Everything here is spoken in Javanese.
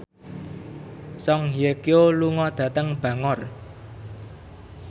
Song Hye Kyo lunga dhateng Bangor